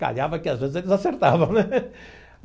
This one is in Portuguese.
Calhava que às vezes eles acertavam, né?